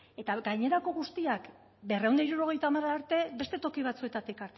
eta gainerako guztiak berrehun eta hirurogeita hamar arte beste toki batzuetatik